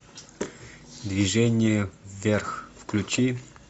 движение вверх включи